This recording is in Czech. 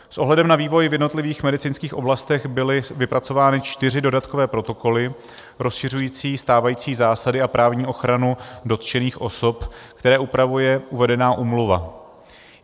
S ohledem na vývoj v jednotlivých biomedicínských oblastech byly vypracovány čtyři dodatkové protokoly rozšiřující stávající zásady a právní ochranu dotčených osob, které upravuje uvedená úmluva.